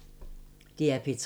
DR P3